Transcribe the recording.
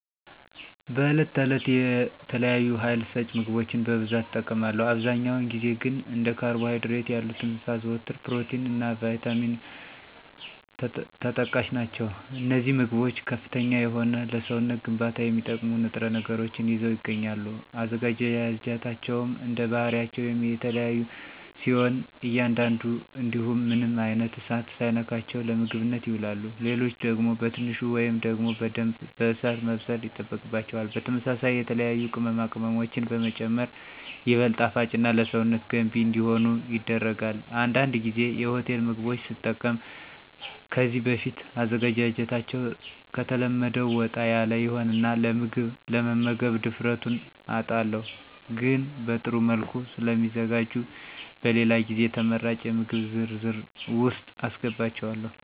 በዕለት ተዕለት የተለያዩ ሀይል ሰጭ ምግቦችን በብዛት እጠቀማለሁ። አብዛኛውን ጊዜ ግን እንደ ካርቦ ሀይድሬት ያሉትን ሳዘወትር ፕሮቲን እና ቫይታሚንም ተጠቃሽ ናቸው። አነዚህ ምግቦች ከፍተኛ የሆነ ለሰውነት ግንባታ የሚጠቅሙ ንጥረ ነገሮችን ይዘው ይገኛሉ። አዘገጃጀታቸውም እንደባህሪያቸው የሚለያዩ ሲሆን አንዳንዱ እንዲሁ ምንም አይነት እሳት ሳይነካቸው ለምግብነት ይውላሉ። ሌሎች ደግሞ በትንሹ ወይም ደግሞ በደንብ በእሳት መብሰል ይጠበቅባቸዋል። በተመሳሳይ የተለያዩ ቅመማ ቅመሞችንም በመጨመር ይበልጥ ጣፋጭና ለሰውነት ገንቢ እንዲሆኑ ይደረጋል። አንዳንድ ጊዜ የሆቴል ምግቦች ስጠቀም ከዚህ በፊት አዘገጃጀታቸዉ ከተለመደው ወጣ ያለ ይሆንና ለመምገብ ድፍረቱን አጣለሁ። ግን በጥሩ መልኩ ስለሚዘጋጁ በሌላ ጊዜ ተመራጭ የምግብ ዝርዝር ውስጥ አሰገባቸዋለሁ።